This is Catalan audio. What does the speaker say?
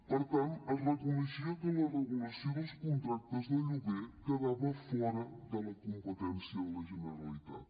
per tant es reconeixia que la regulació dels contractes de lloguer quedava fora de la competència de la generalitat